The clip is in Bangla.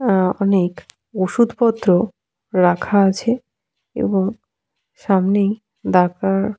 অ্যা অনেক ওষুধ পত্র রাখা আছে। এবং সামনেই ডাক্তার ।